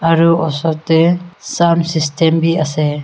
aru osor te sound system ase.